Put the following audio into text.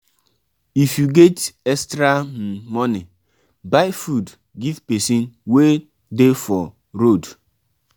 if you get extra um money buy food give person wey um dey hungry for um road.